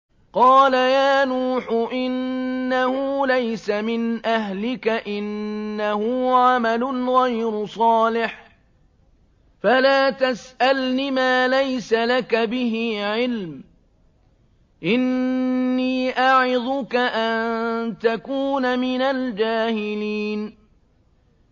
قَالَ يَا نُوحُ إِنَّهُ لَيْسَ مِنْ أَهْلِكَ ۖ إِنَّهُ عَمَلٌ غَيْرُ صَالِحٍ ۖ فَلَا تَسْأَلْنِ مَا لَيْسَ لَكَ بِهِ عِلْمٌ ۖ إِنِّي أَعِظُكَ أَن تَكُونَ مِنَ الْجَاهِلِينَ